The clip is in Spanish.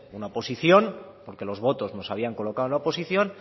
una oposición porque los votos nos habían colocado en la oposición